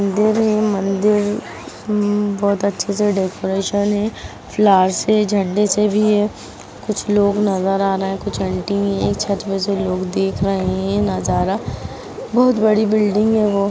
मन्दिर म म बहुत अच्छे से डेकोरेशन हैं फ्लार से झंडे से भी हैं कुछ लोग नजर आ रहे हैं कुछ ऑन्टी भी हैं छत पर से लोग देख रहे हैं ये नजारा बहुत बड़ी बिल्डिंग हैं वो।